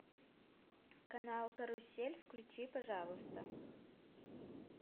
канал карусель включи пожалуйста